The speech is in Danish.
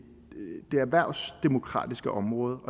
erhvervsdemokratiske område